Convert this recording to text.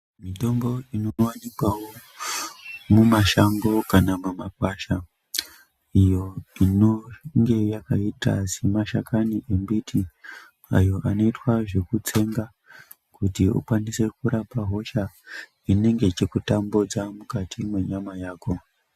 Mitombo inowanikwawo mumashango kana mumagwasha iyo inonge yakaita semashakani embiti ayo anoita zvekutsengwa kuti ukwanise kurapa hosha inenge ichikutambudza mukati mwenyama yako.